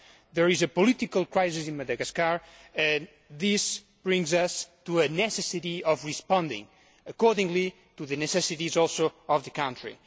There is a political crisis in Madagascar and this brings us to the necessity of responding accordingly to the necessities also of the country.